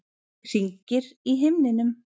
Hringir í himninum.